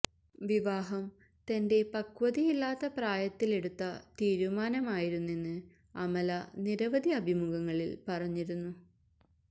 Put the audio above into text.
വിവാഹം തന്റെ പക്വതയില്ലാത്ത പ്രായത്തിലെടുത്ത് തീരുമാനമായിരുന്നെന്ന് അമല നിരവധി അഭിമുഖങ്ങളിൽ പറഞ്ഞിരുന്നു